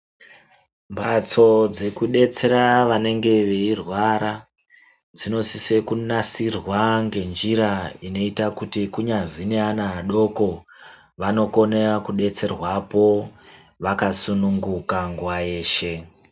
Mbatso dzekudetsera vanenge veyirwara dzinosise kunatsirwa ngenjira inoita kuti kunyazini ana adoko vanokona kudetserwapo vakasununguka nguwa yeshe.